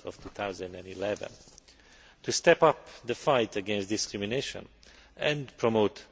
2011. To step up the fight against discrimination and promote